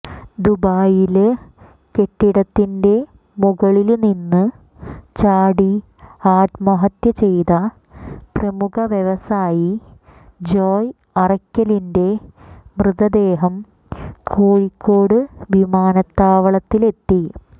ദുബായില് കെട്ടിടത്തിന്റെ മുകളില് നിന്ന് ചാടി ആത്മഹത്യ ചെയ്ത പ്രമുഖ വ്യവസായി ജോയ് അറയ്ക്കലിന്റെ മൃതദേഹം കോഴിക്കോട് വിമാനത്താവളത്തില് എത്തി